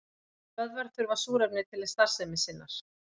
Vöðvar þurfa súrefni til starfsemi sinnar.